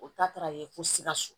O ta taara yen ko sikaso